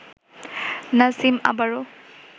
নাজিম আবারও